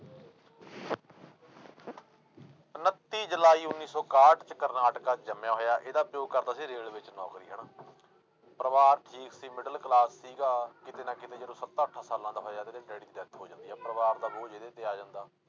ਉਣੱਤੀ ਜੁਲਾਈ ਉੱਨੀ ਸੌ ਇਕਾਹਠ 'ਚ ਕਰਨਾਟਕਾ 'ਚ ਜੰਮਿਆ ਹੋਇਆ, ਇਹਦਾ ਪਿਓ ਕਰਦਾ ਸੀ ਰੇਲਵੇ 'ਚ ਨੌਕਰੀ ਹਨਾ ਪਰਿਵਾਰ ਸੀ middle class ਸੀਗਾ, ਕਿਤੇ ਨਾ ਕਿਤੇ ਜਦੋਂ ਸੱਤਾ ਅੱਠਾਂ ਸਾਲਾਂ ਦਾ ਹੋਇਆ ਤੇ ਇਹਦੇ ਡੈਡੀ ਦੀ death ਹੋ ਜਾਂਦੀ ਆ, ਪਰਿਵਾਰ ਦਾ ਬੋਝ ਇਹਦੇ ਤੇ ਆ ਜਾਂਦਾ।